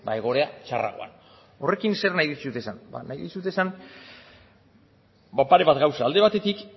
egoera txarragoan horrekin zer nahi dizuet esan ba nahi dizuet esan ba pare bat gauza alde batetik